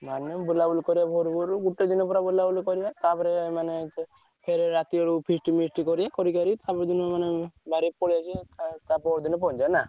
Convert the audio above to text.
ମାନେ ବୁଲ ବୁଲି ପୁରା କରିବ ଭୋରୁ ଭୋରୁ ଗୋଟେ ଦିନ ପୁରା ବୁଲାବୁଲି କରିବା ତାପରେ ମାନେ ଫେରେ ରାତି ଆଡକୁ feast ମିଷ୍ଟ କରିବା କରି ତାପର ଦିନ ମାନେ ବାହାରିକି ପଳେଇ ଆସିବା ଟା ପହର ଦିନ ପହଞ୍ଚିବା ହେଲା।